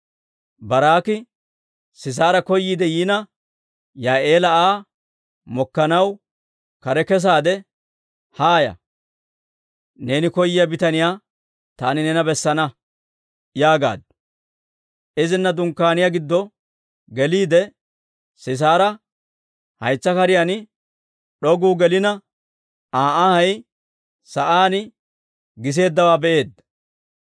Baaraak'i Sisaara koyiidde yiina, Yaa'eela Aa mokkanaw kare kesaade, «Haaya; neeni koyyiyaa bitaniyaa taani neena bessana» yaagaaddu. Izina dunkkaaniyaa giddo geliide, Sisaara haytsa kariyaan d'oguu gelina, Aa anhay sa'aan giseeddawaa be'eedda.